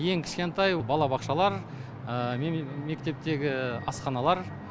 ең кішкентай балабақшалар мектептегі асханалар